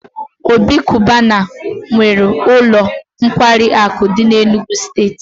Obi cubana nwee ulo nkwari aku di n'Enugwu steeti